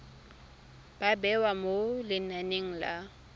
ba bewa mo lenaneng la